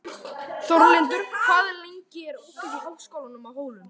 Þórlindur, hvað er lengi opið í Háskólanum á Hólum?